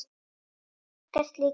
Margar slíkar sögur.